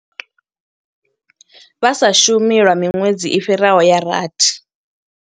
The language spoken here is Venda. Vha sa shumi lwa miṅwedzi i fhiraho ya rathi.